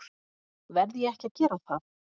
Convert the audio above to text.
Verð ég ekki að gera það?